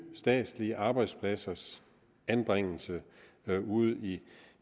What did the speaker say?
statslige arbejdspladsers anbringelse ude i